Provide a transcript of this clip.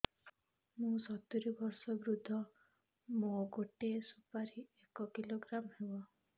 ମୁଁ ସତୂରୀ ବର୍ଷ ବୃଦ୍ଧ ମୋ ଗୋଟେ ସୁପାରି ଏକ କିଲୋଗ୍ରାମ ହେବ